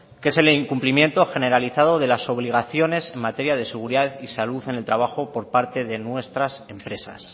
que es el incumplimiento generalizado de las obligaciones en materia de seguridad y salud en el trabajo por parte de nuestras empresas